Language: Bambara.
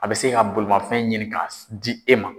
A bɛ se ka bolimafɛn ɲini ka di e ma.